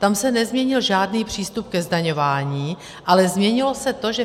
Tam se nezměnil žádný přístup ke zdaňování, ale změnilo se to, že